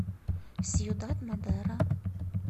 сьюдад мадеро